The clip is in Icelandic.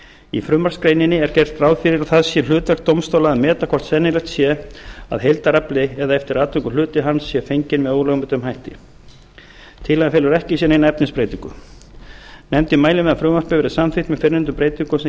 í frumvarpsgreininni er gert ráð fyrir að það sé hlutverk dómstóla að meta hvort sennilegt sé að heildarafli eða eftir atvikum hluti hans sé fenginn með ólögmætum hætti tillagan felur ekki í sér neina efnisbreytingu nefndin mælir með að frumvarpið verði samþykkt með fyrrnefndum breytingum sem